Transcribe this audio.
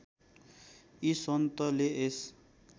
यी सन्तले यस